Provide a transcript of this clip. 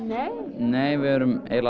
nei við erum eiginlega